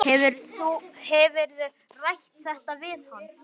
Hefurðu rætt þetta við hann?